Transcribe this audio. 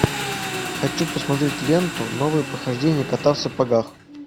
хочу посмотреть ленту новые похождения кота в сапогах